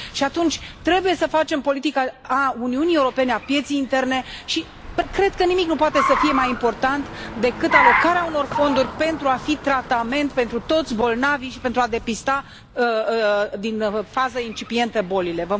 Și atunci trebuie să facem o politică a Uniunii Europene, a pieței interne și cred că nimic nu poate să fie mai important decât alocarea unor fonduri pentru a fi tratament pentru toți bolnavii și pentru a depista din fază incipientă bolile.